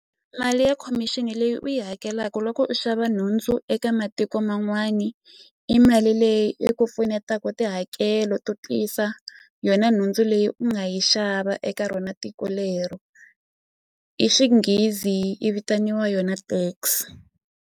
Mali ya khomixini leyi u yi hakelaku loko u xava nhundzu eka matiko man'wani i mali leyi yi ku pfunetaka tihakelo to tisa yona nhundzu leyi u nga yi xava eka rona tiko lero hi xinghezi i vitaniwa yona tax.